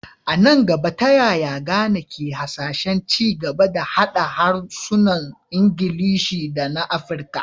A nan gaba, ta yaya Ghana ke hasashen ci gaba da haɗa harsunan Ingilishi da na Afirka?